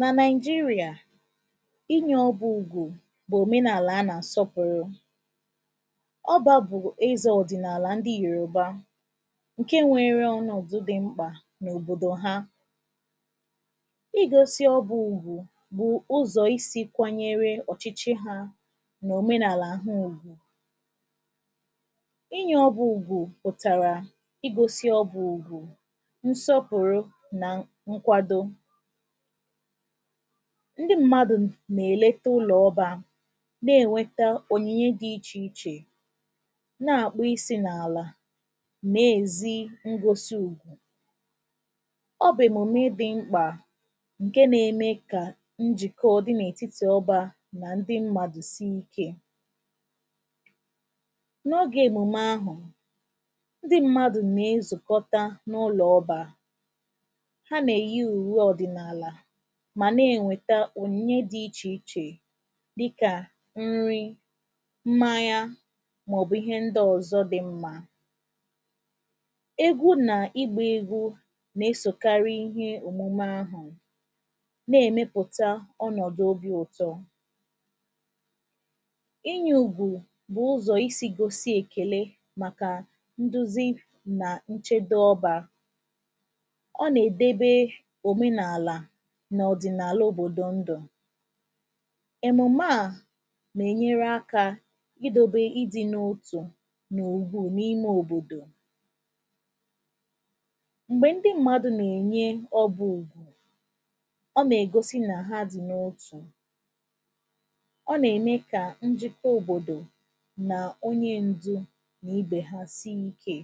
nà Naị̀jịrị̀à, inyẹ̄ ọgwụ bụ̀ òmenàlà a nà àsọpụ̀rụ. ọbā bụ̀ ẹzẹ̄ ọ̀dị̀nàlà ndị Yòrùba, ǹkẹ nwẹrẹ ọnọ̀dụ dị mkpà n’òbòdò ha igosi ọgwụ bụ̀ ụzọ̀ isī kwanyere ọchịchị ha nà òmenàlà ha ùgwù. inyẹ̄ ọgwụ ụ̀gò pụ̀tàrà igōsi ùgwù, nsọpụ̀rụ, nà nkwado. ndị mmadù nà èlete ụlọ̀ obā, nà ẹ̀nwẹta ònyìnye dị ichè ichè, nà àkpọ isī n’àlà, nà èzi ngosi ùgwù. ọ bụ̀ èmòmi dị mkpà, ǹke na eme kà njìkọ dị n’ètitì obā nà ndị mmadù si ikē. n’oge èmùme ahụ̀, ndị mmadù nà ezùkọta n’ụlọ̀ n’ọbā. ha nà èyi ùwe ọ̀dị̀nàlà, mà nà ènweta ònyìnye dị ichè ichè dịkà nri, mmanya, mà ọ̀ bụ̀ ịhẹ ndị ọ̀zọ dị̄ mmā. egwu nà ịgbā egwu nà esòkari ihe òmume ahụ̀, nà ẹ̀mẹpụ̀ta ọnọ̀dụ̀ obī ụtọ. ịnyẹ̄ ùgwù bụ̀ ụzọ̀ isī gosi èkèle màkà nduzi nà nchebe ọbā. ọ nà èdebe òmenàlà nà ọ̀dị̀nàlà òbò̀ò ndụ̀. èmùme à nà ènyere akā idōbe idi n’otù n’ùgwù n’ime òbòdò. m̀gbè ndị mmadu nà ènye ọbụ̀ ùgwù, ọ nà ègosi nà ha dì n’otù. ọ nà ème kà njiko òbòdò, nà onye ǹjè nà ubè ha si ikē.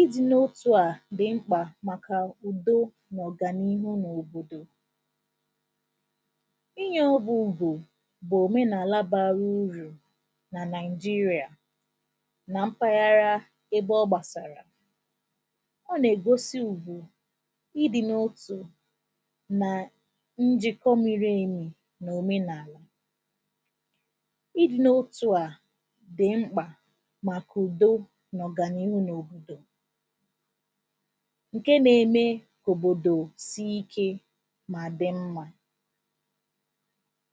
idi n’otū à dị̀ mkpà màkà ù̀o mà ọ̀gànịhụ n’òbòdò. ịnyẹ̄ ọgwụ̄ bụ̀ òmenàla bara urù nà Naị̀jịrị̀à, nà mpaghara ebe ọ gbàsàrà. ọ nà ègosi ùgwù, idī n’otù, nà ǹjìkọ miri èmì n’òmenàlà. idī n’otū à dị̀ mkpà màkà ùdo mà ọ̀gànịhụ n’òbòdò, ǹke na eme kà òbòdò si ikē, mà dị mmā.